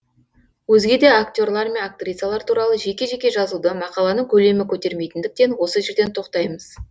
өзге де актерлар мен актрисалар туралы жеке жеке жазуды мақаланың көлемі көтермейтіндіктен осы жерден тоқтаймыз